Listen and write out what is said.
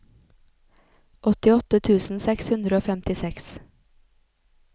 åttiåtte tusen seks hundre og femtiseks